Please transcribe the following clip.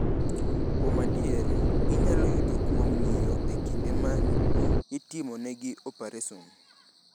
Kuom adier, ginyalo yudore kuom ng’iyo e kinde ma itimonegi opareson.